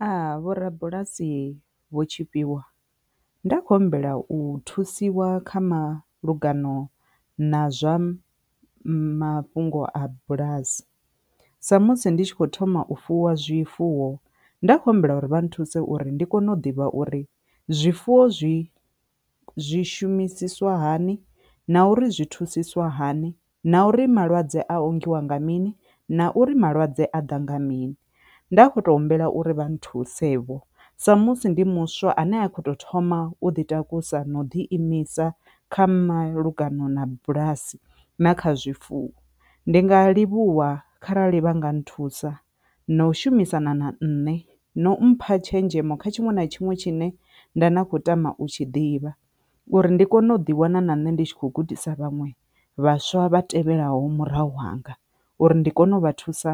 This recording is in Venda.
Aa vho rabulasi vho Tshifhiwa nda khou humbela u thusiwa kha malugano na zwa mafhungo a bulasi sa musi ndi tshi khou thoma u fuwa zwifuwo nda kho humbela uri vha nthuse uri ndi kone u ḓivha uri zwifuwo zwi zwi shumisiswa hani, na uri zwi thusisiwa hani, na uri malwadze a ongiwa nga mini, na uri malwadze a ḓa nga mini. Nda kho to humbela uri vha nthuse vho so musi ndi muswa ane a khou tou thoma u ḓi takusa na u ḓi imisa kha malugana na bulasi na kha zwifuwo, ndi nga livhuwa kharali vha nga nthusa na u shumisana na nṋe na mpha tshenzhemo kha tshiṅwe na tshiṅwe tshine nda na khou tama u tshi ḓivha uri ndi kone u ḓi wana na nṋe ndi tshi kho gudisa vhaṅwe vhaswa vha tevhelaho murahu hanga uri ndi kone u vha thusa